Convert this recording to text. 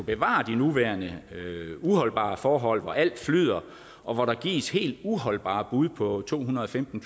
bevare de nuværende uholdbare forhold hvor alt flyder og hvor der gives helt uholdbare bud på to hundrede og femten